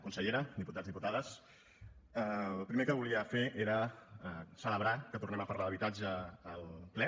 consellera diputats diputades el primer que volia fer era celebrar que tornem a parlar d’habitatge al ple